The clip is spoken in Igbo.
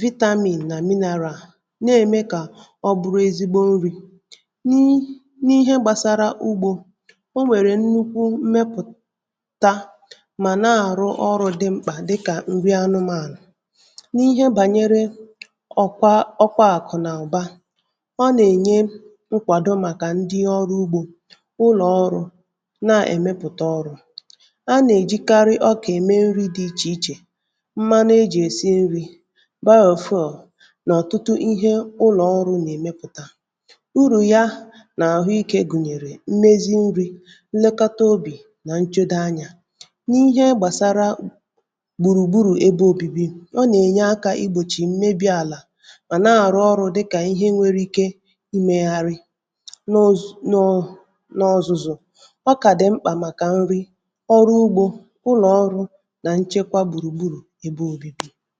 vitamin nà mineral na-eme kà ọ bụrụ ezigbo nri̇ n’ihe gbàsara ugbȯ o nwèrè nnukwu mmepụ̀ta mà na-àrụ ọrụ̇ dị mkpà dịkà nri anụmànụ̀ ọkwa ọkwaàkụ̀ n’aba um ọ nà-ènye nkwàdo màkà ndị ọrụ ugbȯ ụlọ̀ọrụ na-èmepụ̀ta ọrụ̇ a nà-èjikarị ọkà ème nri̇ dị ichè ichè mmanụ ejì èsi nri̇ baa ọ̀fuọ̀ um n’ọ̀tụtụ ihe ụlọ̀ọrụ̇ nà-èmepụ̀ta urù ya nà àhụ ikė gùnyèrè mmezi nri̇ nlekọta obì nà nchede anyȧ n’ihe gbàsara gbùrùgbùrù ebe obibi ọ nà-ènye aka igbòchì um mà na-àrụ ọrụ̇ dịkà ihe nwėrė ike imėgharị n’oz.. n’ọzụzụ ọkà dị̀ mkpà màkà nrị ọrụ ugbȯ ụlọ̀ ọrụ nà nchekwa gbùrùgburù ebe ȯbi̇bi̇